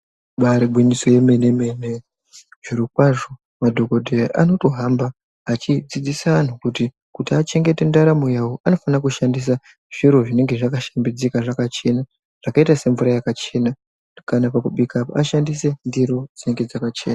Ibari gwinyiso yemene mene, zvirokwazvo madhokodheya anotohamba achidzidzisa anthu kuti, kuti achengete ndaramo yawo, anofanira kushandisa zviro zvinenge zvakashambidzika zvakachena, zvakaita semvura yakachena, kana pakubika, ashandise ndiro dzinenge dzakachena.